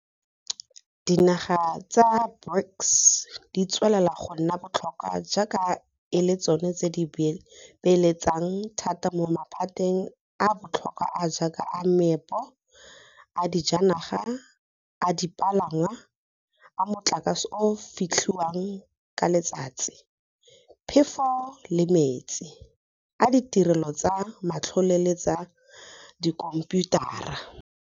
Dinaga tsa BRICS di tswelela go nna botlhokwa jaaka e le tsona di beeletsang thata mo maphateng a a botlhokwa a a jaaka a meepo, a dijanaga, a dipalangwa, a motlakase o o fetlhiwang ka letsatsi, phefo le metsi, a ditirelo tsa matlole le tsa dikhomphiutara.